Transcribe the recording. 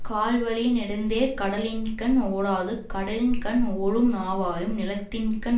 கால் வலிய நெடுந்தேர் கடலின்கண் ஓடாது கடலின் கண் ஓடும் நாவாயும் நிலத்தின்கண்